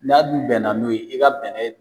N'a dun bɛnna n'o ye i ka bɛnɛ